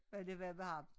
Hvad det var med ham